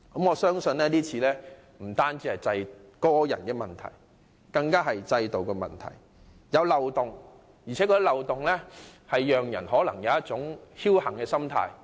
我相信這次事件不是個人問題，而是制度問題，涉事人在漏洞面前更有一種僥幸心態。